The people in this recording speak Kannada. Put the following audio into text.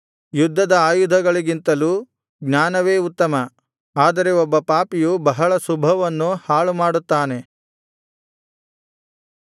ಯುದ್ಧದ ಆಯುಧಗಳಿಗಿಂತಲೂ ಜ್ಞಾನವೇ ಉತ್ತಮ ಆದರೆ ಒಬ್ಬ ಪಾಪಿಯು ಬಹಳ ಶುಭವನ್ನು ಹಾಳುಮಾಡುತ್ತಾನೆ